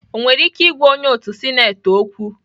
Ọ nwere ike ịgwa onye otu sineti okwu?